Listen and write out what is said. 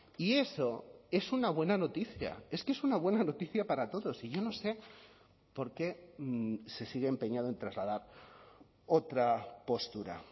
y eso es una buena noticia es que es una buena noticia para todos y yo no sé por qué se sigue empeñado en trasladar otra postura